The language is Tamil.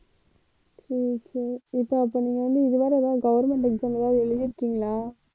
சரி சரி இப்ப அப்ப நீங்க வந்து இதுவரை ஏதாவது government exam ஏதாவது எழுதிருக்கீங்களா